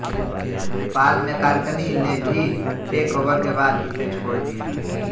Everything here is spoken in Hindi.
पॉल मेकार्टनी ने भी टेकओवर के बाद इसे छोड़ दिया